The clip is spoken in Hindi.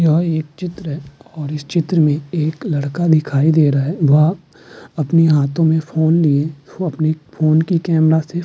यह एक चित्र है और इस चित्र में लड़का दिखाई दे रहा है वह अपने हाथो में फ़ोन लिया हुए अपनी फ़ोन की कमरा से --